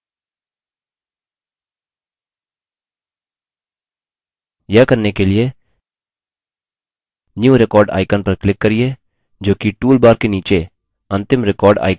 यह करने के लिए new record icon पर click करिये जोकि toolbar के नीचे अंतिम record icon से दूसरा दायाँ है